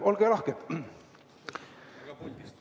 Olge lahked!